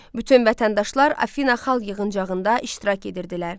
Bütün vətəndaşlar Afina Xalq yığıncağında iştirak edirdilər.